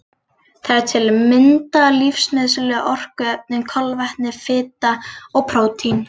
Það eru til að mynda lífsnauðsynlegu orkuefnin kolvetni, fita og prótín.